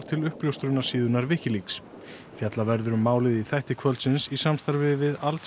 til Wikileaks fjallað verður um málið í þætti kvöldsins í samstarfi við Al